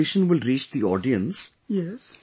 When this conversation will reach the audience